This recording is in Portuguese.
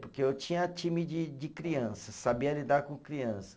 Porque eu tinha time de de criança, sabia lidar com criança.